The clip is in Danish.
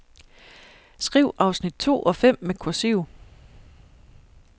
Skriv afsnit to og fem med kursiv.